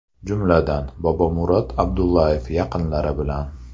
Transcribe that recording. Jumladan: Bobomurod Abdullayev yaqinlari bilan.